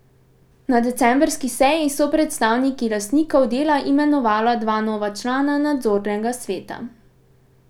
Na decembrski seji so predstavniki lastnikov Dela imenovala dva nova člana nadzornega sveta.